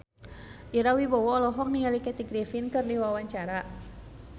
Ira Wibowo olohok ningali Kathy Griffin keur diwawancara